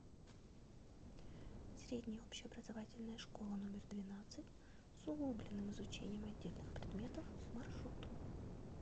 средняя общеобразовательная школа номер двенадцать с углубленным изучением отдельных предметов маршрут